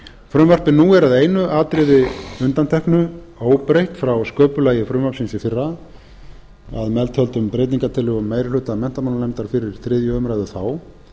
frumvarpið nú er að einu atriði undanteknu óbreytt frá sköpulagi frumvarpsins í fyrra að meðtöldum breytingartillögum meiri hluta menntamálanefndar fyrir þriðju umræðu þá